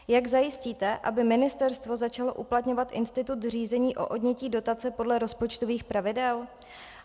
Jak zajistíte, aby ministerstvo začalo uplatňovat institut řízení o odnětí dotace podle rozpočtových pravidel?